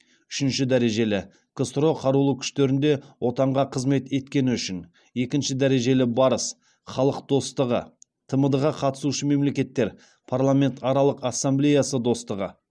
үшінші дәрежелі ксро қарулы күштерінде отанға қызмет еткені үшін екінші дәрежелі барыс халық достығы тмд ға қатысушы мемлекеттер парламентаралық ассамблеясы достығы